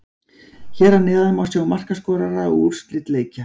Hér að neðan má sjá markaskorara og úrslit leikja.